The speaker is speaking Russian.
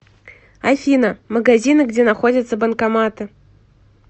афина магазины где находятся банкоматы